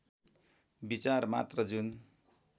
विचार मात्र जुन